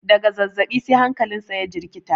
daga zazzabi sai hankalinsa ya jirkita